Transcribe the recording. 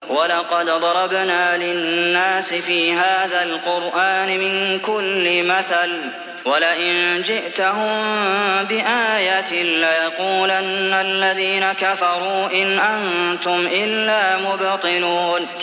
وَلَقَدْ ضَرَبْنَا لِلنَّاسِ فِي هَٰذَا الْقُرْآنِ مِن كُلِّ مَثَلٍ ۚ وَلَئِن جِئْتَهُم بِآيَةٍ لَّيَقُولَنَّ الَّذِينَ كَفَرُوا إِنْ أَنتُمْ إِلَّا مُبْطِلُونَ